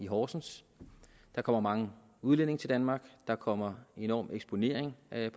horsens der kommer mange udlændinge til danmark der kommer en enorm eksponering af